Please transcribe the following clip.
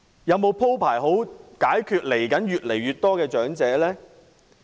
有否鋪排好如何面對越來越多的長者呢？